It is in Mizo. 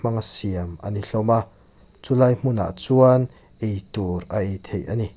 siam ani hlawm a chulai hmunah chuan ei tur a ei theih ani.